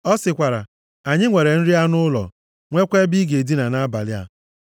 Ọ sịkwara, “Anyị nwere nri anụ ụlọ, nweekwa ebe ị ga-edina nʼabalị a.”